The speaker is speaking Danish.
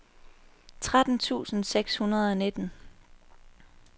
tretten tusind seks hundrede og nitten